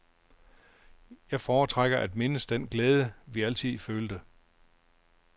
Jeg foretrækker at mindes den glæde, vi altid følte.